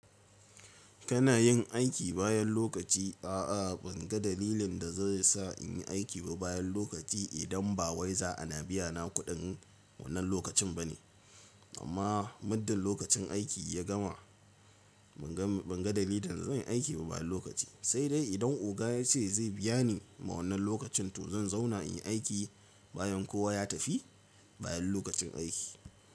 Kana yin aiki bayan lokaci? A'a ban ga dalilin da zai sa in yi aiki ba bayan lokaci idan ba wai za ana biya na kuɗin wannan lokacin ba ne. Amma muddin lokacin aiki ya gama ban ga dalilin da zan yi aiki ba bayan lokaci. Sai dai idan oga ya ce zai biya ni ma wannan lokacin to zan zauna in yi aiki bayan kowa ya tafi bayan lokacin aiki.